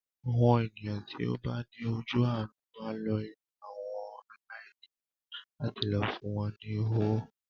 Àwọn ènìyàn tí ó bá ní ojú àánú máa ń lọ ilé àwọn aláìníyà láti lọ fún wọn ní owó.